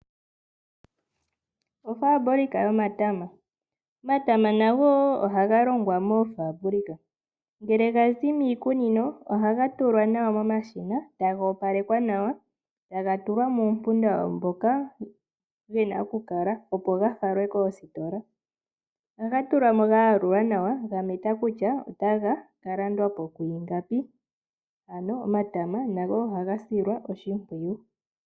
Ofabulika yomatama, omatama nago ohaga longwa moofabulika. Ngele gazi miikunino ohaga tulwa nawa momashina e taga opalekwa nawa, taga tulwa muumpunda wago moka gena okukala opo gafalwe koositola. Ohaga tulwa mo gayalulwa nawa gametwa kutya otaga ka landwapo kwiingapi ano omatama nago ohaga silwa oshimpwiyu.